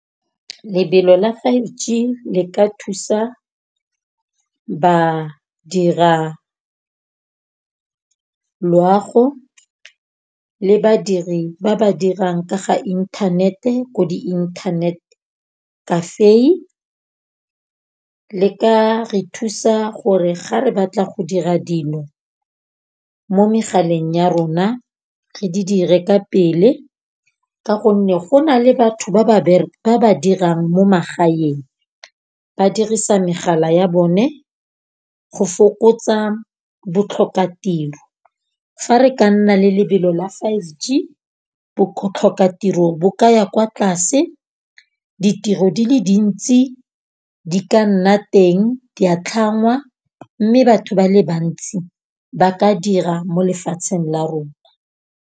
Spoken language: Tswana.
lebelo la five G le ka thusa badira loago le badiri ba ba dirang ka ga inthanete ko di internet cafe. Le ka re thusa gore ga re batla go dira dino mo megaleng ya rona re di dire ka pele. Ka gonne go na le batho ba ba ba ba dirang mo magaeng. Ba dirisa megala ya bone go fokotsa botlhokatiro. Fa re ka nna le lebelo la five G botlhokatiro bo ka ya kwa tlase. Ditiro di le dintsi di ka nna teng, di a tlhangwa . Mme batho ba le bantsi ba ka dira mo lefatsheng la rona.